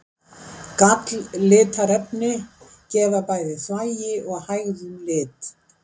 Galllitarefni gefa bæði þvagi og hægðum lit.